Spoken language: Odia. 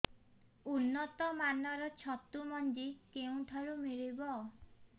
ଉନ୍ନତ ମାନର ଛତୁ ମଞ୍ଜି କେଉଁ ଠାରୁ ମିଳିବ